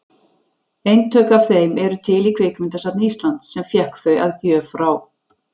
Eintök af þeim eru til í Kvikmyndasafni Íslands, sem fékk þau að gjöf frá